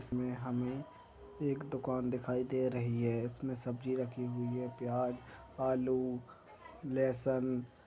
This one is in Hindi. इसमे हमें एक दुकान दिखाई दे रही है इसमें सब्जी रखी हुई है प्याज आलू लहसन--